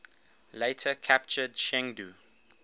later captured chengdu